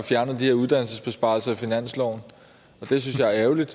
fjernet de uddannelsesbesparelser i finansloven det synes jeg er ærgerligt